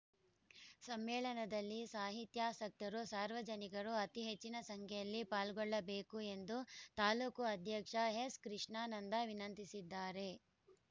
ಸಮ್ಮೇಳನಲ್ಲಿ ಸಾಹಿತ್ಯಾಸಕ್ತರು ಸಾರ್ವಜನಿಕರು ಅತೀ ಹೆಚ್ಚಿನ ಸಂಖ್ಯೆಯಲ್ಲಿ ಪಾಲ್ಗೊಳ್ಳಬೇಕು ಎಂದು ತಾಲೂಕು ಅಧ್ಯಕ್ಷ ಎಸ್‌ ಕೃಷ್ಣಾನಂದ ವಿನಂತಿಸಿದ್ದಾರೆ